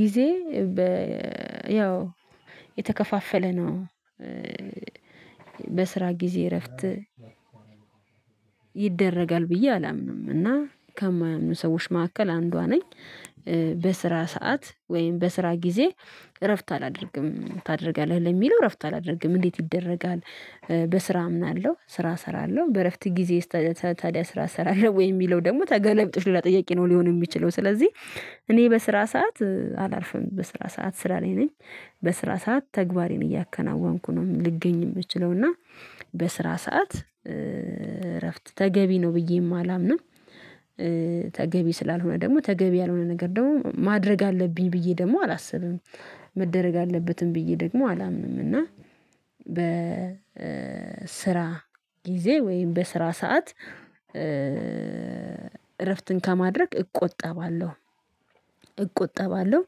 ጊዜ በ ያው የተከፋፈለ ነው። በስራ ጊዜ እረፍት ይደረጋል ብዬ አላምንም እና ከማያምኑ ሰዎች መካከል አንዷ ነኝ። በስራ ሰዓት ወይም በስራ ጊዜ እረፍት አላደርግም ታደርጋለህ ለሚለው እረፍት አላደርግም እንዴት ይደረጋል? በስራ አምናለሁ ስራ እሰራለሁ በእረፍት ጊዜ። ታዲያ ስራ እሰራለሁ ወይ የሚለው ደግሞ ተገላቢጦሽ ሁላ ጥያቄ ነው ሊሆን የሚችለው ስለዚህ። እኔ በስራ ሰዓት አላርፍም በስራ ሰዓት ስራ ላይ ነኝ። በስራ ሰዓት ተግባሬን እያከናወንኩ ነው ልገኝ የምችለው እና በስራ ሰዓት እረፍት ተገቢ ነው ብዬም አላምንም። ተገቢ ስላልሆነ ደግሞ ተገቢ ያልሆነ ነገር ደግሞ ማድረግ አለብኝ ብዬ ደግሞ አላስብም። መደረግ አለበትም ብዬ ደግሞ አላምንም። እና በ ስራ ጊዜ ወይም በስራ ሰዓት እረፍትን ከማድረግ እቆጠባለሁ። እቆጠባለሁ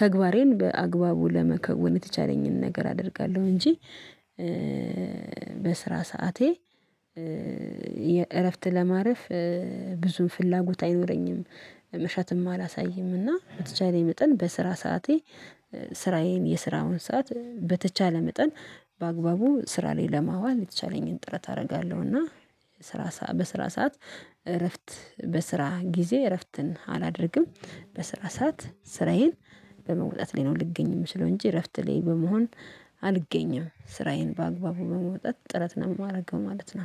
ተግባሬን በአግባቡ ለመከወን የተቻለኝን ነገር አደርጋለሁ እንጂ በስራ ሰዓቴ የእረፍት ለማረፍ ብዙም ፍላጎት አይኖረኝም። መሻትም አላሳይምና በተቻለኝ መጠን በስራ ሰዓቴ ስራዬን የስራውን ሰዓት በተቻለ መጠን በአግባቡ ስራ ላይ ለማዋል የተቻለኝን ጥረት አደርጋለሁ። እና ስራ በስራ ሰዓት እረፍት በስራ ጊዜ እረፍትን አላደርግም። በስራ ሰዓት ስራዬን በመውጣት ላይ ነው ልገኝም የምችለው እንጂ እረፍት ላይ በመሆን አልገኝም ስራዬን በአግባቡ በመውጣት ጥረት ነው የማደርገው ማለት ነው